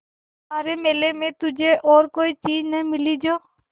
सारे मेले में तुझे और कोई चीज़ न मिली जो